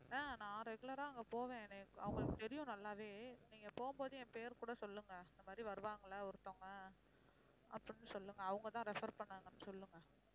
ஆஹ் நான் regular ஆ அங்க போவேன் என்னய அவங்களுக்கு தெரியும் நல்லாவே நீங்க போம்போது என் பேரு கூட சொல்லுங்க இந்த மாதிரி வருவாங்க இல்ல ஒருத்தவங்க அப்படின்னு சொல்லுங்க அவங்க தான் refer பண்ணாங்கன்னு சொல்லுங்க